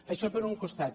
això per un costat